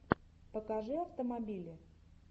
покажи автомобили